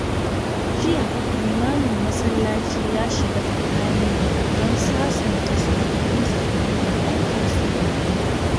Jiya, limamin masallaci ya shiga tsakani don sasanta sabani tsakanin 'yan kasuwa biyu.